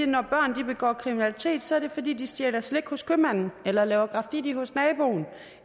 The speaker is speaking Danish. når børn begår kriminalitet er det fordi de stjæler slik hos købmanden eller laver graffiti hos naboen